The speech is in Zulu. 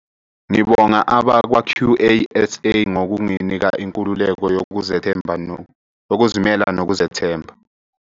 "Ngibonga abakwa-QASA ngokunginika inkululeko yokuzimela nokuzethemba."